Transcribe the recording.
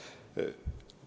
Aitäh!